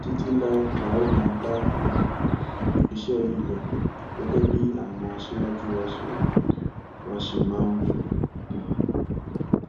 títí láé la óò máa bá um iṣẹ yìí lọ gẹgẹ bí àwọn aṣáájú wa ṣe wa ṣe máa ń wí um